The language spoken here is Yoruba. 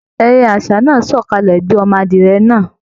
Ẹyẹ aṣa náà sọkalẹ gbé ọmọ adìyẹ̀ náà.